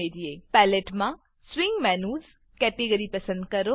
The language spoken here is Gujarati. પેલેટ પેલેટ માં swing menus swing menus category પસંદ કરો